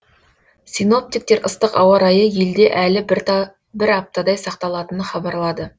синоптиктер ыстық ауа райы елде әлі бір аптадай сақталатынын хабарлады